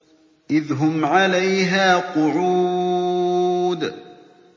إِذْ هُمْ عَلَيْهَا قُعُودٌ